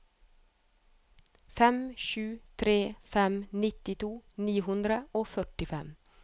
fem sju tre fem nittito ni hundre og førtifem